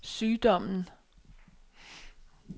sygdommen